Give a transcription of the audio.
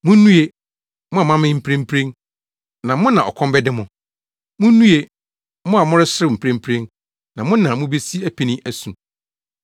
Munnue, mo a moamee mprempren, na mo na ɔkɔm bɛde mo! Munnue, mo a moreserew mprempren, na mo na mubesi apini asu.